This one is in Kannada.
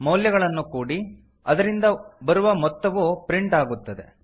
ಮೌಲ್ಯಗಳನ್ನು ಕೂಡಿ ಅದರಿಂದ ಬರುವ ಮೊತ್ತವು ಪ್ರಿಂಟ್ ಆಗುತ್ತದೆ